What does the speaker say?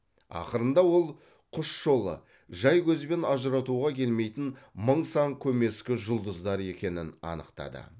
ақырында ол құс жолы жай көзбен ажыратуға келмейтін мың сан көмескі жұлдыздар екенін анықтады